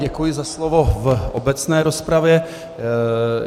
Děkuji za slovo v obecné rozpravě.